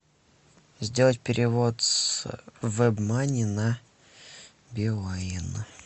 сделать перевод с вебмани на билайн